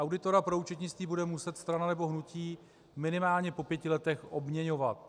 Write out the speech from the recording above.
Auditora pro účetnictví bude muset strana nebo hnutí minimálně po pěti letech obměňovat.